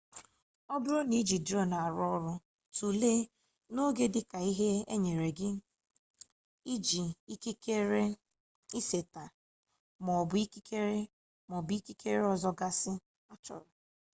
ọ bụrụ na iji drone arụ ọrụ tulee n'oge dịka ihe e nyere gị ikikere iseta maọbụ ikikere maọbụ ikikere ọzọ gasị achọrọ